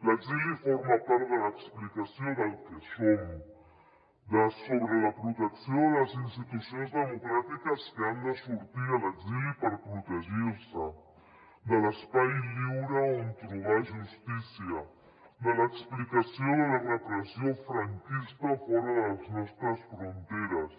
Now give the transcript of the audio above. l’exili forma part de l’explicació del que som sobre la protecció de les institucions democràtiques que han de sortir a l’exili per protegir se de l’espai lliure on trobar justícia de l’explicació de la repressió franquista fora de les nostres fronteres